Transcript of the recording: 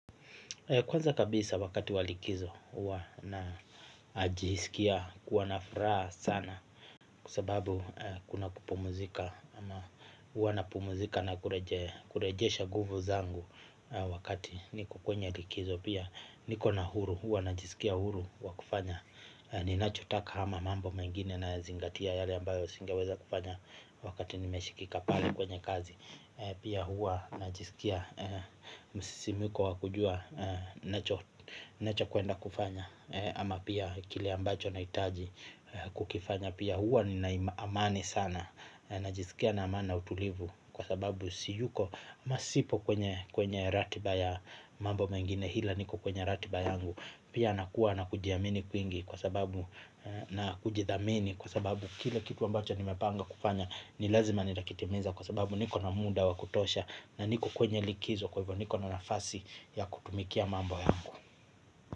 Kwanza kabisa wakati wa likizo huwa najisikia kuwa na furaha sana. Kwa sababu kuna kupumzika ama huwa napumzika na kurejesha nguvu zangu wakati niko kwenye likizo. Pia niko na huru huwa najisikia huru wa kufanya. Ninachotaka ama mambo mengine nazingatia yale ambayo singeweza kufanya wakati nimeshikika pale kwenye kazi. Pia huwa najisikia msisimko wa kujua nacho kuenda kufanya. Ama pia kile ambacho nahitaji kukifanya. Pia huwa nina amani sana. Najisikia na amani na utulivu. Kwa sababu siyuko masipo kwenye ratiba ya mambo mengine ila niko kwenye ratiba yangu. Pia nakuwa na kujiamini kwingi kwa sababu na kujidhamini. Kwa sababu kile kitu ambacho nimepanga kufanya ni lazima nitakitimiza. Kwa sababu niko na muda wa kutosha na niko kwenye likizo kwa hivyo niko na nafasi ya kutumikia mambo haya.